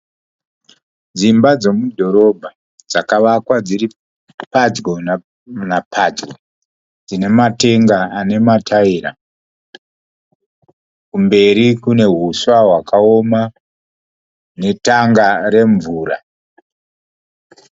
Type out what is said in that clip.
Dzimba dzemudhorobha dzakavakwa dziri pedyo napedyo dzina matenga ana mataira. Kumberi kune huswa hwakaoma netengi remvura.